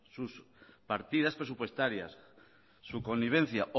sus partidas presupuestarias su connivencia